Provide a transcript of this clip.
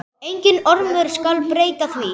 Enginn ormur skal breyta því.